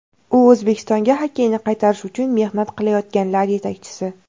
U O‘zbekistonga xokkeyni qaytarish uchun mehnat qilayotganlar yetakchisi.